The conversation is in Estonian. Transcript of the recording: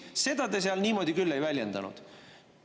Seda te seal niimoodi küll ei väljendanud.